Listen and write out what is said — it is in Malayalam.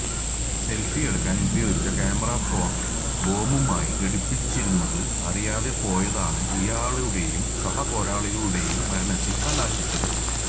സെല്ഫി എടുക്കാന് ഉപയോഗിച്ച ക്യാമറഫോണ് ബോംബുമായി ഘടിപ്പിച്ചിരുന്നത് അറിയാതെ പോയതാണ് ഇയാളുടേയും സഹപോരാളികളുടേയും മരണത്തില് കലാശിച്ചത്